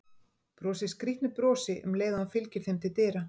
Brosir skrýtnu brosi um leið og hann fylgir þeim til dyra.